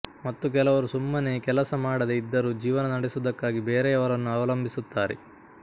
ಮತ್ತು ಕೆಲವರು ಸುಮ್ಮನೆ ಕೆಲಸ ಮಾಡದೆ ಇದ್ದರೂ ಜೀವನ ನಡೆಸುವುದಕ್ಕಾಗಿ ಬೇರೆಯವರನ್ನು ಅವಲಂಭಿಸಿರುತ್ತಾರೆ